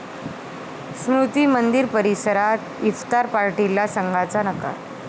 स्मृती मंदिर परिसरात इफ्तार पार्टीला संघाचा नकार!